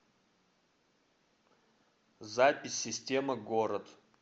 запись система город